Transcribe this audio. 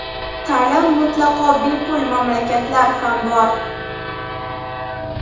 Ta’lim mutlaqo bepul mamlakatlar ham bor.